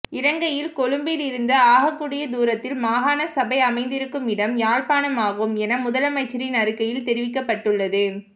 இலங்கையில் கொழும்பில் இருந்து ஆகக் கூடிய தூரத்தில் மாகாண சபை அமைந்திருக்கும் இடம் யாழ்ப்பாணமாகும் என முதலமைச்சரின் அறிக்கையில் தெரிவிக்கப்பட்டுள்ளது